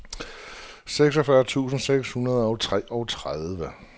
seksogfyrre tusind seks hundrede og treogtredive